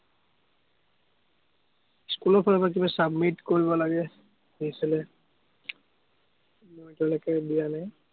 স্কুলৰফালৰপৰা কিবা submit কৰিব লাগে। আহিছিলে, মই এতিয়ালেকে দিয়া নাই।